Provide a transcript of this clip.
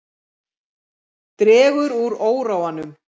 Dregur úr óróanum